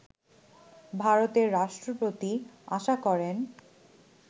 ভারতের রাষ্ট্রপতি আশা করেন